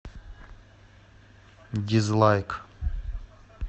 дизлайк